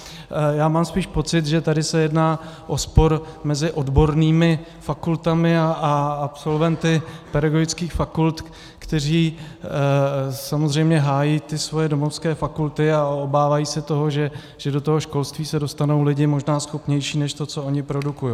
Já mám spíš pocit, že tady se jedná o spor mezi odbornými fakultami a absolventy pedagogických fakult, kteří samozřejmě hájí ty svoje domovské fakulty a obávají se toho, že do toho školství se dostanou lidi možná schopnější než to, co oni produkují.